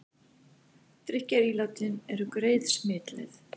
Drykkjarílátin eru greið smitleið